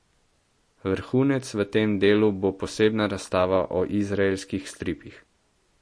Vrhunec v tem delu bo posebna razstava o izraelskih stripih.